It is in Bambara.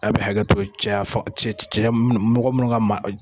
A bi hakɛ to cɛyafaga cɛya mɔgɔ minnu ka ma.